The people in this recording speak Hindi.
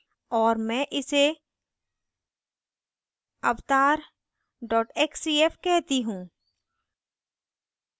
और मैं इसे avatar xcf कहती हूँ